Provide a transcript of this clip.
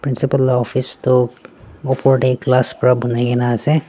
principal la office toh opor tae glass pra banai kaena ase.